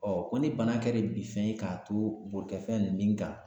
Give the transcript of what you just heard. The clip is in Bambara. ko ni bana kɛra bin fɛn ye k'a to bolikɛfɛn ninnu kan